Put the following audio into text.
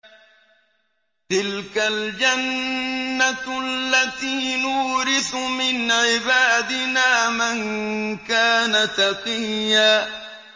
تِلْكَ الْجَنَّةُ الَّتِي نُورِثُ مِنْ عِبَادِنَا مَن كَانَ تَقِيًّا